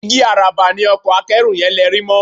Igi àràbà ni ọkọ akẹ́rù yẹn lerí mọ́